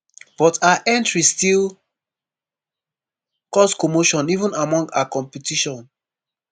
but her entry still cause commotion even among her competition